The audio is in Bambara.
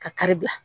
Ka kari bila